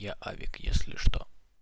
я авик если что